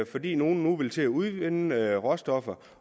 fordi nogle nu vil til at udvinde råstoffer